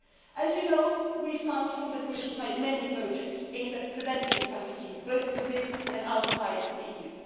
As you know, the Commission funds many projects aimed at preventing trafficking both within and outside the